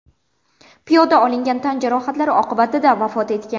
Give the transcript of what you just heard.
Piyoda olingan tan jarohatlari oqibatida vafot etgan.